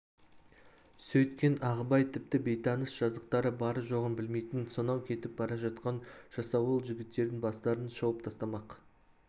сөйткен ағыбай тіпті бейтаныс жазықтары бары-жоғын білмейтін сонау кетіп бара жатқан жасауыл жігіттердің бастарын шауып тастамақ